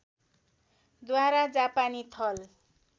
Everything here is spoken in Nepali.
द्वारा जापानी थल